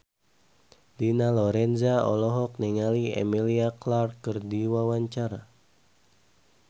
Dina Lorenza olohok ningali Emilia Clarke keur diwawancara